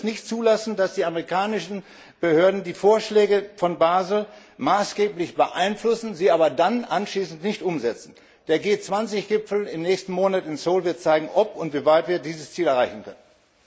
Wir dürfen es nicht zulassen, dass die amerikanischen Behörden die Vorschläge von Basel maßgeblich beeinflussen, sie aber dann anschließend nicht umsetzen. Der G20 Gipfel im nächsten Monat in Seoul wird zeigen, ob und in wie weit wir dieses Ziel erreichen können.